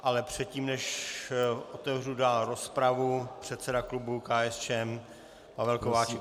Ale předtím, než otevřu dál rozpravu, předseda klubu KSČM Pavel Kováčik.